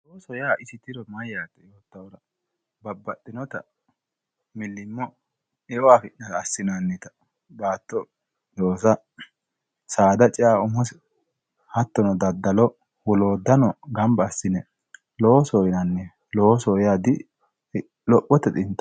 Loosoho yaa isi tiro mayyate babbaxxinotta milimo eo affi'nara assinannitta baatto loossa saada cea umosi hattono daddalo woloottano gamba assine loosoho yinanniwe loosoho yaa dilophote xintaho.